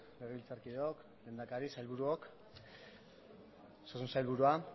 legebiltzarkideok lehendakari sailburuok osasun sailburua